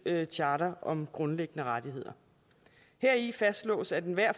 charter om grundlæggende rettigheder heri fastslås at enhver